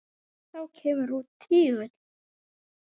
Þá kemur út tígull.